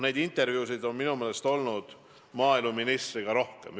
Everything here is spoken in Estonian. Neid intervjuusid maaeluministriga on minu meelest olnud rohkemgi.